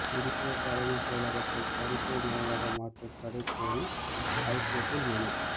புதிய தலைமைச் செயலகத்தை மருத்துவமனையாக மாற்ற தடை கோரி ஐகோர்ட்டில் மனு